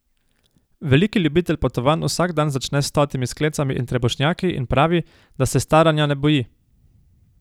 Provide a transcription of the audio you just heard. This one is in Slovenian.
Veliki ljubitelj potovanj vsak dan začne s stotimi sklecami in trebušnjaki in pravi, da se staranja ne boji.